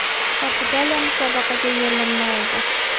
Portugaliya musobaqaga yo‘llanma oldi.